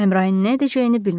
Əmrain nə edəcəyini bilmirdi.